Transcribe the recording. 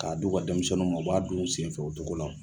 K'a du ka denmisɛnninw ma u b'a dun u senfɛ o cogo la